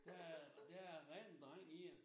Der er der er ren dreng i det mh